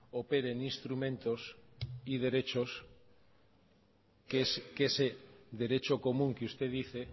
operen instrumentos y derechos que ese derecho común que usted dice